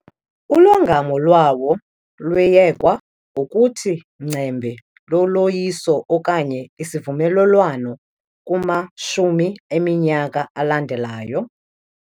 Ulongamo lwawo lwayekwa ngokuthi ngcembe loloyiso okanye isivumelelwano kumashumi eminyaka alandelayo.